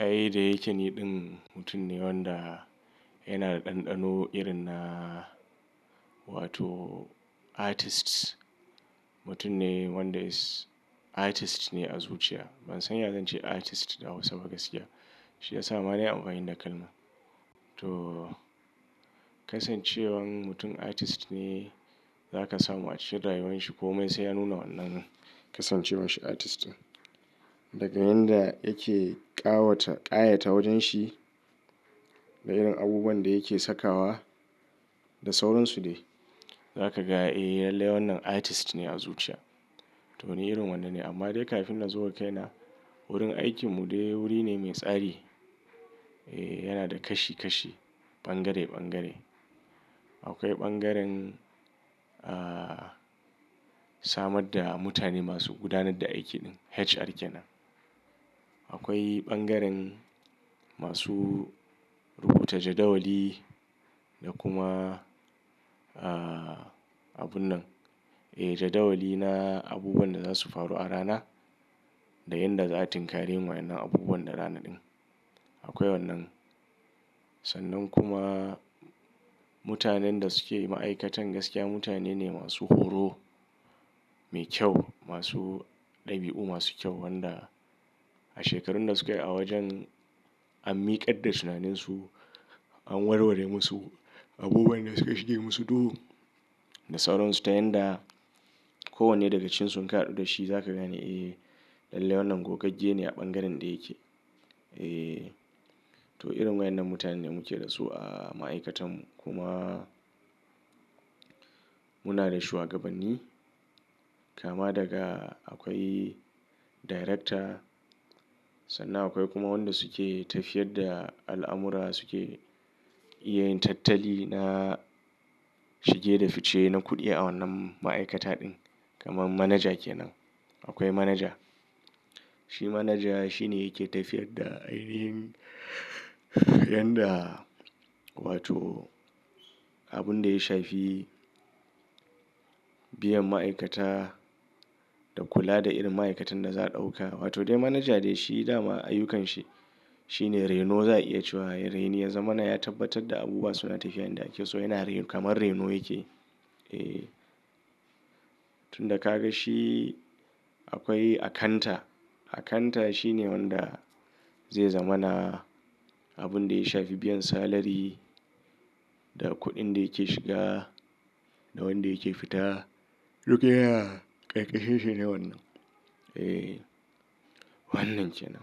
Ai da yake niɗin mutum ne wanda yana da ɗanɗano irin na wato artist. Mutum ne wanda is artist ne a zuciya. Ban san ya zan ce artist da hausa ba gaskiya. Shi yasa ma nayi anfani da kalma. To kasancewan mutum artist ne zaka samu a cikin rayuwar shi ko mai sai ya nuna wannan kasancewar shi artist. Daga yanda yake ƙawata, ƙayata wajen shi da irin abubuwan da yake sakawa da sauran su dai. Zaka ga ee lalle wannan artist ne a zuciya. To ni irin wannan ne amma dai kafin na zo wa kai na wurin aikin mu dai wuri ne mai tsari. Ee yana da kashi kashi, bangare bangare. Akwai bangaren ah samar da mutane masu gudanar da aiki din HR kenan. Akwai bangaren masu rubuta jadawali da kuma ah abun nan. Ee jadawali na abubuwan da za su faru a rana da yanda za a tinkari wa'inan abubuwan na rana din. Akwai wannan. Sannan kuma mutanen da suke ma'aikatan gaskiya mutane ne masu horo, mai kyau, masu ɗabi'u masu kyau wanda a shekarun da sukayi a wajen an miƙar da tunanin su, an warware musu abubuwan da suke shige musu duhu da sauran su. Ta yanda kowanne daga cikin su inka hadu da shi za ka gane ee lalle wannan gogagge ne a bangaren da yake. Ee to irin wa'inan mutane ne muke da su a ma'aikatan mu. Kuma muna da shuwagabanni kama daga akwai director sannan akwai kuma wanda suke tafiyar da al'amura suke iya yin tattali na shige da fice na kuɗi a wannan ma'aikata din. Kaman manager kenan. Akwai manager. Shi manager shi ne yake tafiyar da irin yanda wato abun da ya shafi biyan ma'aikata da kula da irin ma'aikatan da za a ɗauka. Wato dai manager dai shi da ma ayyukan shi. Shi ne reno za a iya cewa. Ya reni ya zamana ya tabbatar da abubuwa suna tafiya yanda ake so yana reno kamar reno yake. Ee tun da ka ga shi akwai akanta. Akanta shi ne wanda zai zamana abun da ya shafi biyan salari da kuɗin da yake shiga da wanda yake fita. Duk yana ƙarƙa shinshi ne wannan. Ee wannan kenan.